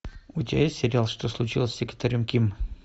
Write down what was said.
у тебя есть сериал что случилось с секретарем ким